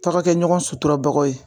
Tɔ ka kɛ ɲɔgɔn suturabaga ye